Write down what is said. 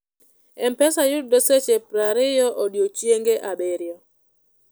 mpesa yudre seche pier ariyo odiechienge abirio